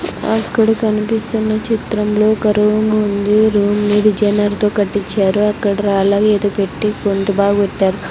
అక్కడ కనిపిస్తున్న చిత్రంలో గర్వము ఉంది రూమ్ ఇది జనర్తో కట్టిచారు అక్కడ రాల్లాగ ఏదో పెట్టి పొందుబాపెట్టారు.